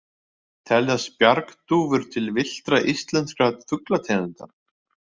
Teljast bjargdúfur til villtra íslenskra fuglategunda?